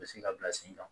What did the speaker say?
U bɛ se ka bila sen kan